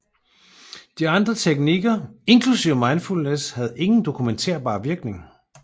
Alle andre teknikker inklusive Mindfulness havde ingen dokumentarbar virkning